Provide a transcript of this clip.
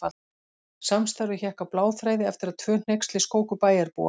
Samstarfið hékk á bláþræði eftir að tvö hneyksli skóku bæjarbúa.